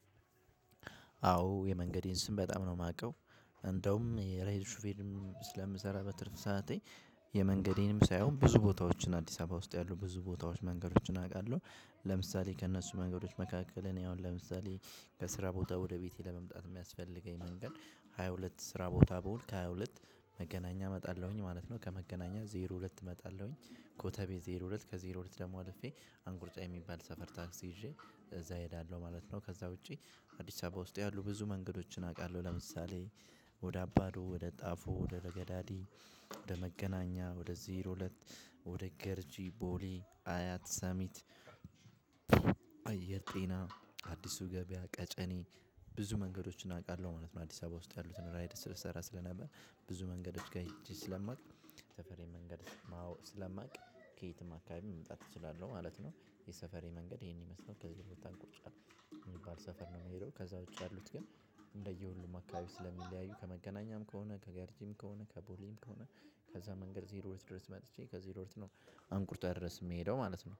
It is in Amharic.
አዎ የመንገዴን ስም በጣም ነው ማውቀው። እንደውም የራይድ ሹፌርም ስለምሰራ በትርፍ ሰዓቴ የመንገዴንም ሳይሆን ብዙ ቦታዎችን አዲስ አበባ ውስጥ ያሉ ብዙ ቦታዎች መንገዶችን አውቃለሁ። ለምሳሌ ከእነሱ መንገዶች መካከል እኔ አሁን ለምሳሌ ከስራ ቦታ ወደ ቤቴ ለመምጣት የሚያስፈልገኝ መንገድ ሃያ ሁለት ስራ ቦታ ብውል ከሃያ ሁለት መገናኛ እመጣለሁኝ ማለት ነው ከመገናኛ ዜሮ ሁለት እመጣለሁኝ ኮተቤ ዜሮ ሁለት ከዜሮ ሁለት ድግሞ አልፌ አንቆርጫ የሚባል ሰፈር ቴክስ ይዤ እዛ እሄዳለሁ ማለት ነው። ከዛ ውጭ አዲስአበባ ውስጥ ያሉ ብዙ መንገዶችን አውቃለሁ። ለምሳሌ ወደ አባዶ ወደ ጣፎ ወደ ለገዳዲ ወደ መገናኛ ወደ ዜሮ ሁለት ወደ ገርጂ ቦሌ አያት ሰሚት አየር ጤና አዲሱ ገበያ ቀጨኔ ብዙ መንገዶችን አውቃለሁ ማለት ነው። አዲስ አበባ ውስጥ ያሉትን ራይድ ስሰራ ስለነበር ብዙ መንገዶች ጋር ሄጄ ስለማውቅ ሰፈሬን መንገድ ማወቅ ስለማውቅ ከየትም አካባቢ መምጣት እችላለሁ ማለት ነው። የሰፈሬ መንገድ ይሄን ይመስላል ከዚህ በፊት አንቆርጫ የሚባል ሰፈር ነው። የሚሄደው ከዛ ውጪ ያሉት ግን እንደየሁሉም አካባቢ ስለሚለያዩ ከመገናኛም ከሆነ ከገርጂም ከሆነ ከቦሌም ከሆነ ከዛ መንገድ ዜሮ ሁለት ድረስ መጥቼ ከዜሮ ሁለት ነው አንቆርጫ ድረስ የምሄደው ማለት ነው